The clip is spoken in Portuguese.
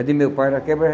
A de meu pai era quebra